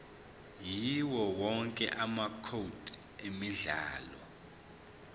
yawowonke amacode emidlalo